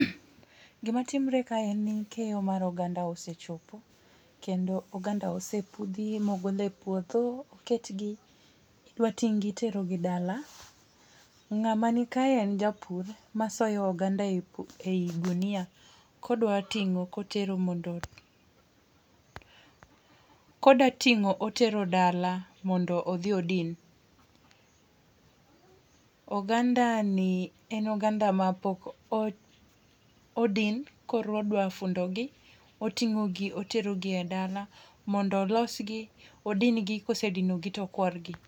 Gima timre kae en ni keyo mar oganda osechopo kendo oganda osepudhi mogol e puodho, oketgi idwa ting' gi iterogi dala . Ng'ama nika en japur masoyo oganda e ogunia, kodwa ting'o kotero mondo koda ting'o otero dala mondo odhi odin . Oganda ni en oganda mapok odin koro odwa fundo gi oting'o gi otero gi e dala mondo olos gi odin gi kosedino gi tokuor gi.